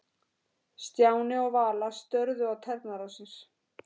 Stjáni og Vala störðu á tærnar á sér.